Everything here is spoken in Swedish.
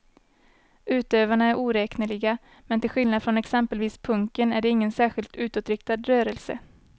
Utövarna är oräkneliga, men till skillnad från exempelvis punken är det ingen särskilt utåtriktad rörelse.